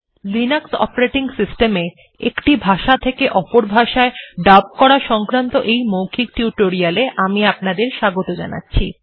Linux operating system এ একটি ভাষা থেকে অপর ভাষায় ডাব করা সংক্রান্ত এই মৌখিক টিউটোরিয়াল এ আমি আপনাদের স্বাগত জানাচ্ছি